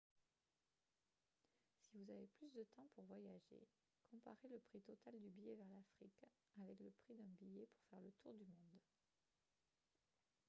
si vous avez plus de temps pour voyager comparez le prix total du billet vers l'afrique avec le prix d'un billet pour faire le tour du monde